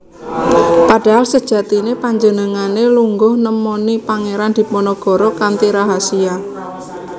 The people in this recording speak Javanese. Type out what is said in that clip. Padahal sejatiné panjenengané lunga nemoni Pangeran Diponegoro kanthi rahasia